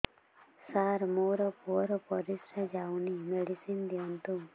ସାର ମୋର ପୁଅର ପରିସ୍ରା ଯାଉନି ମେଡିସିନ ଦିଅନ୍ତୁ